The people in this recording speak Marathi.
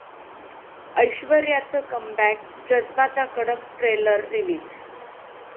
ऐश्वर्याचं कमबॅक, 'जज्बा'चा कडक ट्रेलर रिलीज